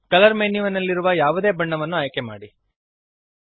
colour ಮೆನ್ಯುನಲ್ಲಿರುವ ಯಾವುದೇ ಬಣ್ಣವನ್ನು ಆಯ್ಕೆಮಾಡಿರಿ